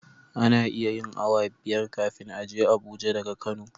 Ana iya yin awa biyar kafin a je abuja daga kano